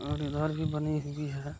मेरे घर भी बनी हुई है --